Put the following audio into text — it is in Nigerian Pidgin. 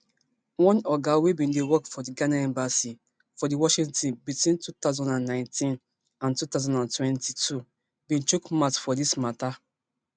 one oga wey bin dey work for di ghana embassy for di washington between two thousand and nineteen and two thousand and twenty-two bin chook mouth for dis mata